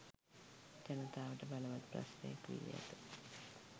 ජනතාවට බලවත් ප්‍රශ්නයක් වී ඇත.